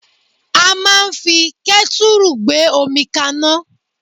A máa ń fi kẹ́tùrù gbé omi kaná